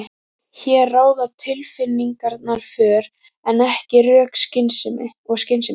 Hér ráða tilfinningarnar för en ekki rök og skynsemi.